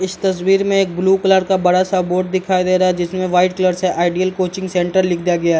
इस तस्वीर में एक ब्लू कलर का बड़ा सा बोर्ड दिखाई दे रहा है जिसमें वाइट कलर से आइडियल कोचिंग सेंटर लिख दिया गया है।